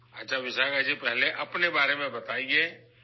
اچھا وشاکھا جی، پہلے اپنے بارے میں بتائیں